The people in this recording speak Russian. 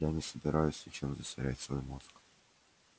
я не собираюсь ничем засорять свой мозг